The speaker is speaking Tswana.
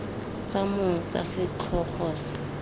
tsa mong tsa setlhogo se